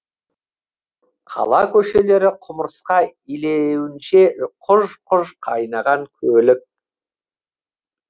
қала көшелері құмырсқа илеуінше құж құж қайнаған көлік